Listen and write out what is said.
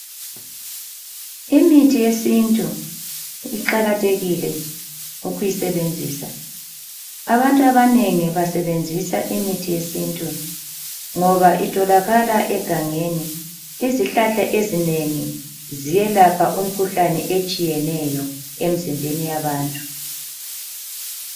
Imithi yesintu iqakathekile ukuyisebenzisa, abantu abanengi basebenzisa imithi yesintu ngoba itholakala egangeni. Izihlahla ezinengi ziyelapha imikhuhlane etshiyeneyo emzimbeni yabantu.